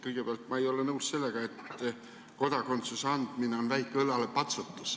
Kõigepealt ma ei ole nõus sellega, et kodakondsuse andmine on väike õlalepatsutus.